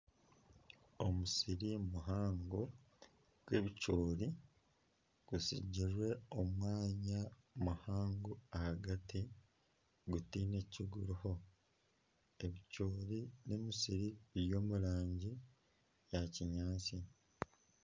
Omusiri muhango gw'ebicoori gusigirwe omwanya muhango ahagati gutaine ki guriho. Ebicoori n'omusiri biri omu rangi ya kinyaatsi.